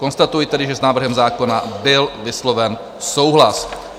Konstatuji tedy, že s návrhem zákona byl vysloven souhlas.